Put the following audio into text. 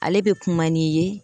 Ale bɛ kuma n'i ye.